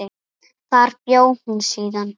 Þar bjó hún síðan.